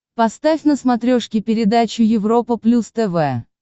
поставь на смотрешке передачу европа плюс тв